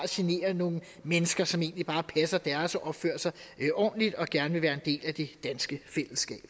generer nogle mennesker som egentlig bare passer deres og opfører sig ordentligt og gerne vil være en del af det danske fællesskab